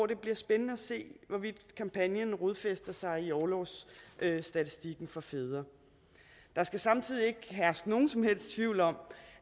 det bliver spændende at se hvorvidt kampagnen rodfæster sig i orlovsstatistikken for fædre der skal samtidig ikke herske nogen som helst tvivl om